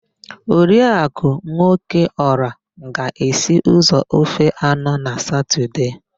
Oriakụ Nwokeọra ga-esi ụzọ ofe anọ na satọdee.